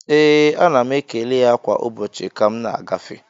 Ee, ana m ekele ya kwa ụbọchị ka m na-agafe